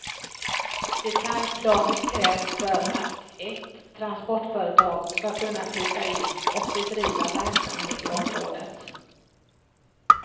Detaljplanen krävs för att ett transportföretag ska kunna flytta in och bedriva verksamhet i området.